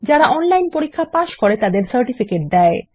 যারা অনলাইন পরীক্ষা পাস করে তাদের সার্টিফিকেট দেয়